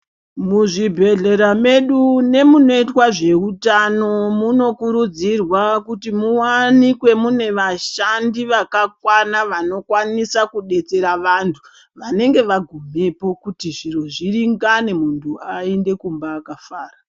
Muzvibhedhlera medu nemunoitwa zveutano munokurudzirwa kuti muwanikwe mune vashande vakakwana vanokwanisa kudetsera vantu vanenge vangumepo kuti zviro zviringane muntu aende kumba akafara